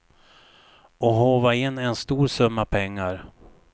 Och håva in en stor summa pengar.